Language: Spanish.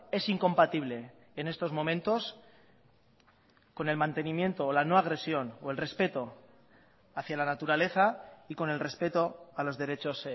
es incompatible en estos momentos con el mantenimiento la no agresión o el respeto hacia la naturaleza y con el respeto a los derechos